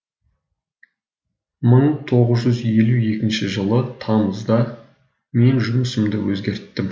мың тоғыз жүз елу екінші жылы тамызда мен жұмысымды өзгерттім